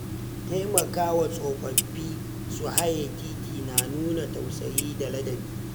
Taimakawa tsofaffi su haye titi na nuna tausayi da ladabi.